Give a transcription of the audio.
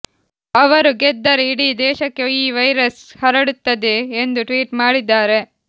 ಅವರು ಗೆದ್ದರೆ ಇಡೀ ದೇಶಕ್ಕೆ ಈ ವೈರಸ್ ಹರಡುತ್ತದೆ ಎಂದು ಟ್ವೀಟ್ ಮಾಡಿದ್ದಾರೆ